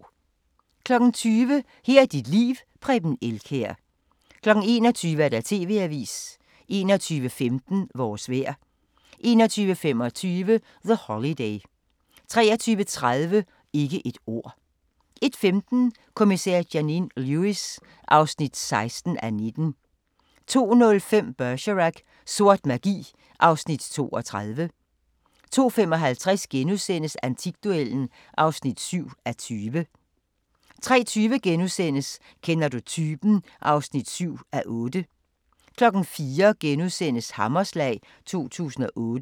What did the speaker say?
20:00: Her er dit liv: Preben Elkjær 21:00: TV-avisen 21:15: Vores vejr 21:25: The Holiday 23:30: Ikke et ord 01:15: Kommissær Janine Lewis (16:19) 02:05: Bergerac: Sort magi (Afs. 32) 02:55: Antikduellen (7:20)* 03:20: Kender du typen? (7:8)* 04:00: Hammerslag 2008 *